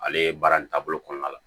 Ale ye baara in taabolo kɔnɔna la